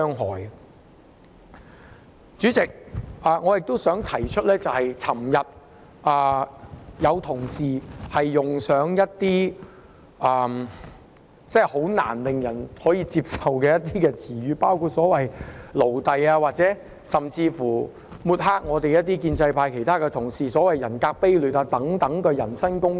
代理主席，我還想提出，昨天有同事用上一些令人難以接受的言詞，包括"奴隸"，甚至說一些抹黑建制派同事的說話，例如"人格卑劣"等的人身攻擊。